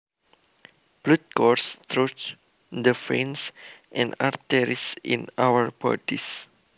Blood courses through the veins and arteries in our bodies